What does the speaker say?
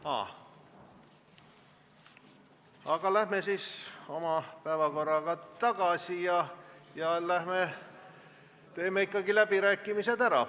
Sel juhul läheme päevakorraga tagasi ja teeme ka läbirääkimised ära.